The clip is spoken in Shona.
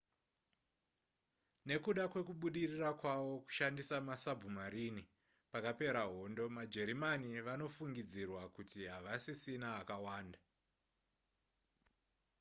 nekuda kwekubudirira kwavo kushandisa masabhumarini pakapera hondo majerimani vanofungidzirwa kuti havasisina akawanda